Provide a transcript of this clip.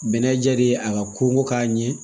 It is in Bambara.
Bɛnɛ ja de ye a ka koko k'a ɲɛ